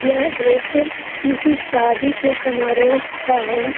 यह दृश्य किसी शादी के समारोह का हैं ।